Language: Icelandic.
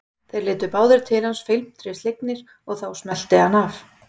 Þeir litu báðir til hans felmtri slegnir og þá smellti hann af.